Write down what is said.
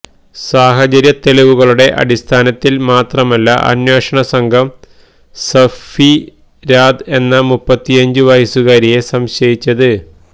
സാഹചര്യത്തെളിവുകളുടെ അടിസ്ഥാനത്തില് മാത്രമല്ല അന്വേഷണ സംഘം സഫിരാദ് എന്ന മുപ്പത്തിയഞ്ചുവയസ്സുകാരിയെ സംശയിച്ചത്